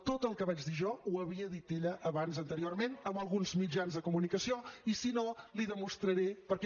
tot el que vaig dir jo ho havia dit ella abans anteriorment en alguns mitjans de comunicació i si no l’hi demostraré perquè